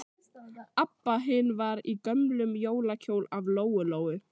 Abba hin var í gömlum jólakjól af Lóu-Lóu.